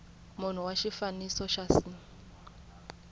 munhu wa xifaniso xa c